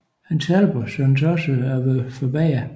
Hans helbred syntes også at være forbedret